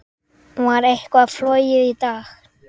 Var eitthvað flogið í dag?